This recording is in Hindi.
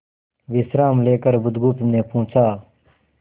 विश्राम लेकर बुधगुप्त ने पूछा